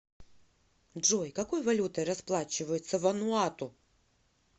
джой какой валютой расплачиваются в вануату